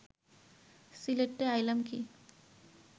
সিলেটে আইলাম কি